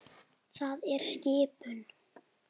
Það er skipun!